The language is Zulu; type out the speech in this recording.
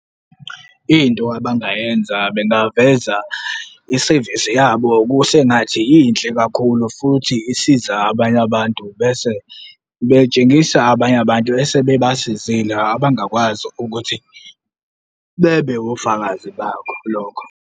Into abangayenza bengaveza i-service yabo kusengathi inhle kakhulu futhi isiza abanye abantu bese betshengisa abanye abantu ese bebasizile abangakwazi ukuthi bebe wofakazi bakho lokho.